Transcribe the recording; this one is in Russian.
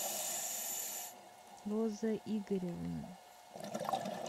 роза игоревна